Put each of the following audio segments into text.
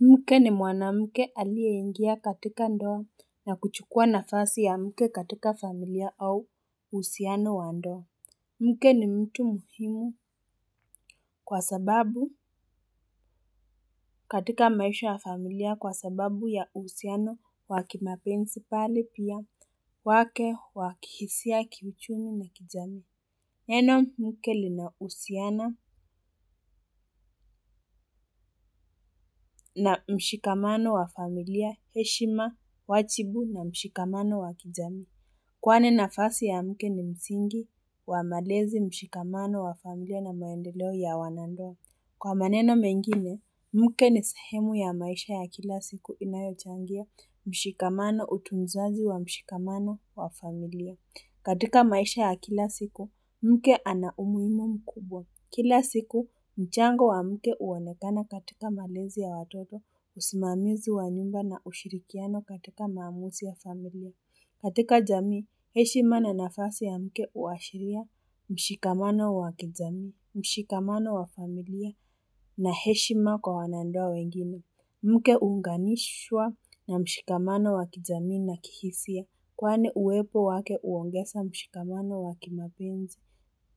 Mke ni mwanamke aliyeingia katika ndoa na kuchukua nafasi ya mke katika familia au uhusiano wa ndoa. Mke ni mtu muhimu kwa sababu katika maisha ya familia kwa sababu ya uhusiano wa kimapenzi pale pia wake wa kihisia kiuchumi na kijami. Neno mke linahusiana na mshikamano wa familia heshima wajibu na mshikamano wa kijamii. Kwani nafasi ya mke ni msingi wa malezi mshikamano wa familia na maendeleo ya wanandoa. Kwa maneno mengine, mke ni sehemu ya maisha ya kila siku inayochangia mshikamano utu mzazi wa mshikamano wa familia. Na mshikamano wa familia heshima wajibu na mshikamano wa kijamii. Kila siku, mchango wa mke huonekana katika malezi ya watoto, usimamizi wa nyumba na ushirikiano katika maamuzi ya familia. Katika jamii, heshima na nafasi ya mke huwashiria mshikamano wa kijamii, mshikamano wa familia na heshima kwa wanandoa wengine. Mke huunganishwa na mshikamano wa kijamii na kihisia kwani uwepo wake huongeza mshikamano wa kimapenzi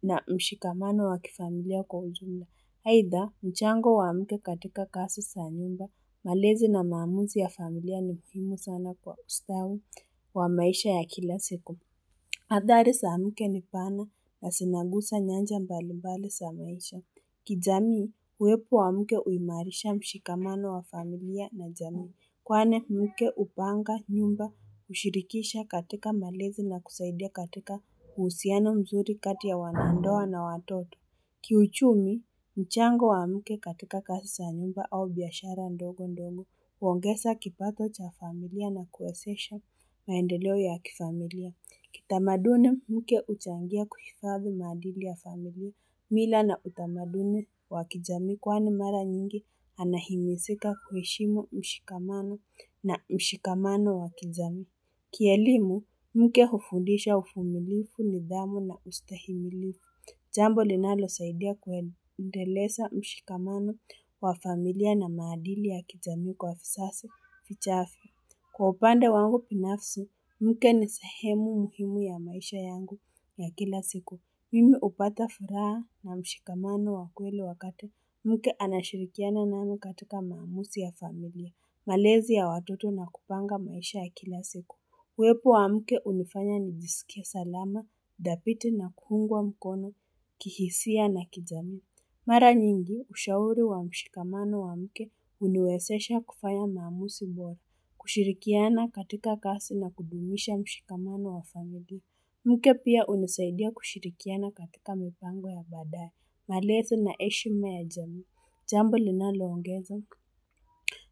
na mshikamano wa kifamilia kwa ujumla. Aidha, mchango wa mke katika kazi za nyumba, malezi na maamuzi ya familia ni muhimu sana kwa ustawi wa maisha ya kila siku. Athari za mke ni pana, zinagusa nyanja mbali mbali za maisha. Kijamii, uwepo wa mke huimarisha mshikamano wa familia na jamii. Kwani, mke hupanga nyumba, hushirikisha katika malezi na kusaidia katika uhusiano mzuri kati ya wanandoa na watoto. Kiuchumi, mchango wa mke katika kazi za nyumba au biashara ndogo ndogo, huongeza kipato cha familia na kuwezesha maendeleo ya kifamilia. Kitamaduni, mke huchangia kuhifadhi madili ya familia, mila na utamaduni wa kijami kwani mara nyingi anahimizika kuheshimu mshikamano na mshikamano wa kijamii. Kielimu, mke hufundisha uvumilivu nidhamu na ustahimilivu. Jambo linalosaidia kuendeleza mshikamano wa familia na maadili ya kijamii kwa vizazi, vichafu. Kwa upande wangu binafsi, mke ni sehemu muhimu ya maisha yangu ya kila siku. Mimi hupata furaha na mshikamano wa kweli wakati. Mke anashirikiana nami katika maamuzi ya familia. Malezi ya watoto na kupanga maisha ya kila siku. Uwepo wa mke hunifanya nijisikie salama, dhabiti na kuungwa mkono, kihisia na kijamii. Mara nyingi, ushauri wa mshikamano wa mke huniwezesha kufanya maamuzi bora. Kushirikiana katika kazi na kudumisha mshikamano wa familia. Mke pia hunisaidia kushirikiana katika mipango ya badaye. Malezi na heshima ya jamii. Jambo linaloongeza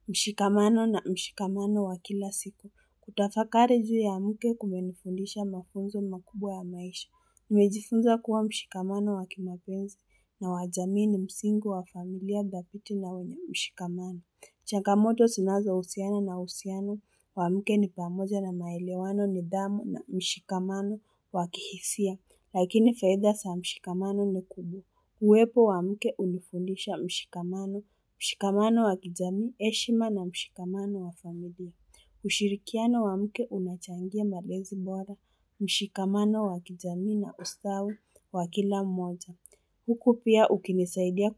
mshikamano na mshikamano wa kila siko, kutafakari juu ya mke kumenifundisha mafunzo makubwa ya maisha, nimejifunza kuwa mshikamano wa kimapenzi na wa jamii ni msingi wa familia dhabiti na wenye mshikamano changamoto zinazo husiana na uhusiano, wa mke ni pamoja na maelewano nidhamu na mshikamano wa kihisia, lakini faida za mshikamano ni kubu. Uwepo wa mke hunifundisha mshikamano, mshikamano wa kijamii, heshima na mshikamano wa familia. Ushirikiano wa mke unachangia malezi bora, mshikamano wa kijamii na ustawi wa kila mmoja. Huku pia ukinisaidia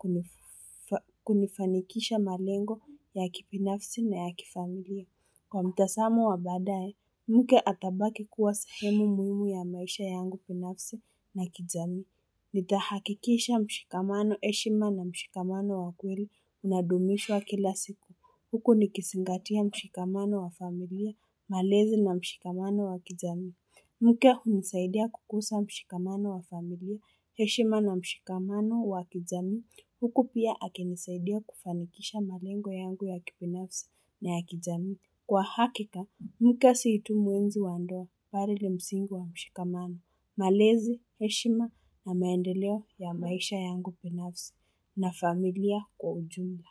kunifanikisha malengo ya kibinafsi na ya kifamilia. Kwa mtazamo wa baadaye, mke atabaki kuwa sehemu muhimu ya maisha yangu binafsi na kijami. Nitahakikisha mshikamano heshima na mshikamano wa kweli unadumishwa kila siku. Huku nikizingatia mshikamano wa familia, malezi na mshikamano wa kijamii. Mke hunisaidia kukuza mshikamano wa familia, heshima na mshikamano wa kijamii. Huku pia akinisaidia kufanikisha malengo yangu ya kibinafsi na ya kijamii. Kwa hakika, mke si tu muenzi wa ndoa bali ni msingi wa mshikamano. Malezi, heshima na maendeleo ya maisha yangu binafsi na familia kwa ujumla.